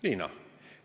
Liina?